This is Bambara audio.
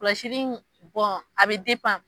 Kɔlɔsili in a bɛ .